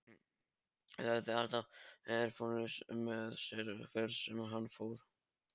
Hann hafði alltaf ræðupúlt með sér hvert sem hann fór.